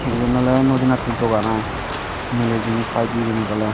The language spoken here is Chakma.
eben ole nudi natte dogan ai milay jinish pai di ebanit ole.